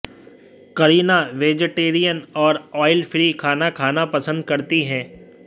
Kareena vegetarian और oil free खाना खाना पसंद करती है